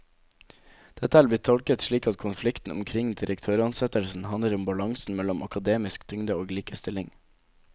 Dette er blitt tolket slik at konflikten omkring direktøransettelsen handler om balansen mellom akademisk tyngde og likestilling.